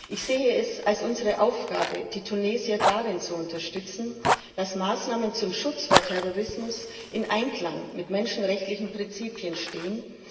Ich sehe es als unsere Aufgabe, die Tunesier darin zu unterstützen, dass Maßnahmen zum Schutz vor Terrorismus in Einklang mit menschenrechtlichen Prinzipien stehen.